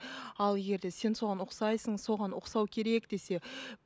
ал егер де сен соған ұқсайсың соған ұқсау керек десе